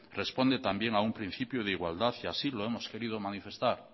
responde también a un principio de igualdad y así lo hemos querido manifestar